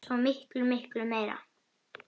Svo miklu, miklu meira.